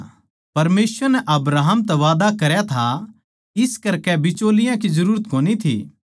परमेसवर नै अब्राहम तै वादा करया था इस करकै बिचौलिया की जरूरत कोनी थी